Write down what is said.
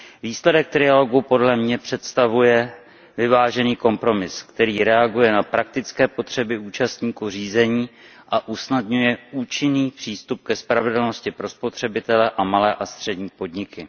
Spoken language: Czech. Výsledek trialogu podle mě představuje vyvážený kompromis, který reaguje na praktické potřeby účastníků řízení a usnadňuje účinný přístup ke spravedlnosti pro spotřebitele a malé a střední podniky.